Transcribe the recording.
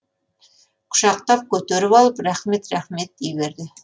құшақтап көтеріп алып рахмет рахмет дей берді